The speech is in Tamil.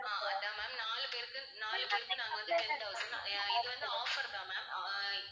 ஆஹ் அதான் ma'am நாலு பேருக்கு நாலு பேருக்கு நாங்க வந்து ten thousand அஹ் இது வந்து offer தான் mam அஹ் இ~